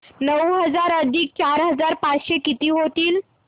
नऊ हजार अधिक चार हजार पाचशे किती होतील